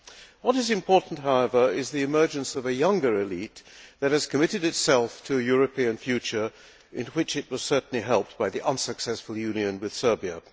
What is important, however, is the emergence of a younger élite that has committed itself to a European future, in which it was certainly helped by the unsuccessful union with Serbia.